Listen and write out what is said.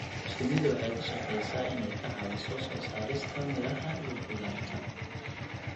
Shinnidu waxay ka shaqeysaa inay ka caawiso soo saarista miraha iyo khudaarta.